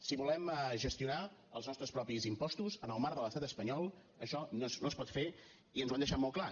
si volem gestionar els nostres propis impostos en el marc de l’estat espanyol això no es pot fer i ens ho han deixat molt clar